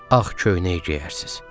Ağ köynək geyərsiniz.